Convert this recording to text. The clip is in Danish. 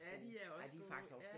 Ja de er også gode